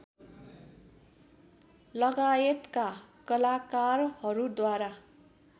लगायतका कलाकारहरूद्वारा